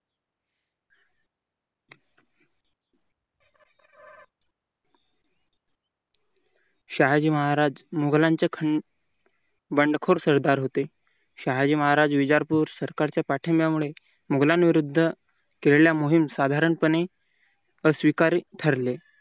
शहाजी महाराज मोगलांचे बंडखोर सरदार होते शहाजी महाराज विजापूर सरकारच्या पाठिंबामुळे मुघलांविरुद्ध केलेल्या मोहीम साधारणपणे